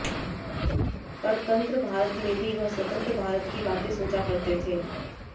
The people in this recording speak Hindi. परतंत्र भारत में भी वह स्वतंत्र भारत की बातें सोचा करते थे